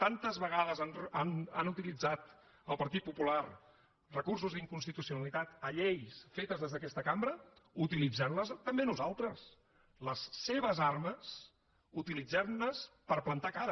tantes vegades han utilitzat el partit popular recursos d’inconstitucionalitat a lleis fetes des d’aquesta cambra utilitzem les també nosaltres les seves armes utilitzem les per plantar cara